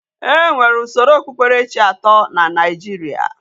E nwere usoro okpukperechi ato na Naijiria.